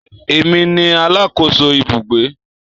Èmi ni alákòóso ibùgbé